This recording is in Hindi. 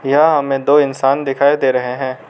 यहां हमें दो इंसान दिखाई दे रहे हैं।